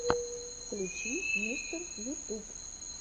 включи мистер ютуб